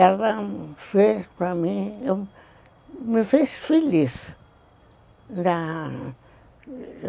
Ela fez para mim, me fez feliz